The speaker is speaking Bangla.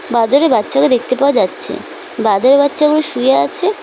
বাঁদরের বাচ্চাকে দেখতে পাওয়া যাচ্ছে বাঁদরের বাচ্চাগুলো শুয়ে আছে।